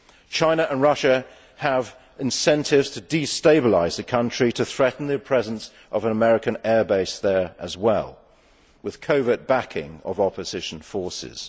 China and Russia have incentives to destabilise the country to threaten the presence of an American airbase there as well, with covert backing of opposition forces.